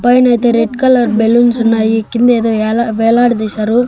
పైన అయితే red colour balloons ఉన్నాయి కింద ఏదో ఎలా వేలాడ తీశారు.